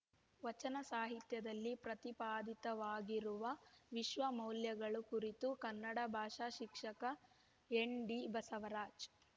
ವಚನ ಸಾಹಿತ್ಯದಲ್ಲಿ ಪ್ರತಿಪಾದಿತವಾಗಿರುವ ವಿಶ್ವ ಮೌಲ್ಯಗಳು ಕುರಿತು ಕನ್ನಡ ಭಾಷಾ ಶಿಕ್ಷಕ ಎನ್‌ಡಿಬಸವರಾಜ್‌